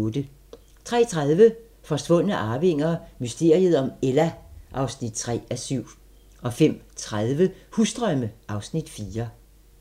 03:30: Forsvundne arvinger: Mysteriet om Ella (3:7) 05:30: Husdrømme (Afs. 4)